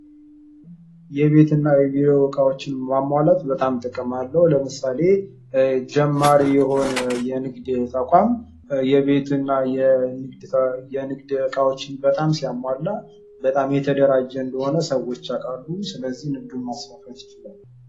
የቤት እና የቢሮ እቃዎችን ማሟላት በጣም ጥቅም አለው ። ለምሳሌ ጀማሪ የሆነ የንግድ ተቋም የቤት እና የንግድ እቃዎችን በጣም ሲያሟላ በጣም የተደራጀ እንደሆነ ሰዎች ያውቃሉ ። ስለዚህ ንግዱን ማስፋፋት ይችላሉ ።